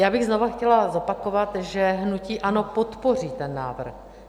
Já bych znovu chtěla zopakovat, že hnutí ANO podpoří ten návrh.